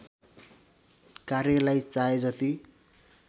कार्यलाई चाहे जति